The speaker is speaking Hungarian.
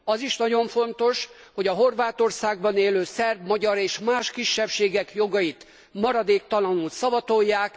Az is nagyon fontos, hogy a Horvátországban élő szerb, magyar és más kisebbségek jogait maradéktalanul szavatolják.